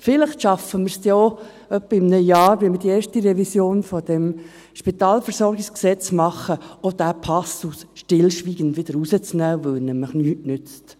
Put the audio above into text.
Vielleicht schaffen wir es in etwa einem Jahr bei der ersten Revision dieses SpVG, diesen Passus stillschweigend wieder zu entfernen, weil er nichts nützt.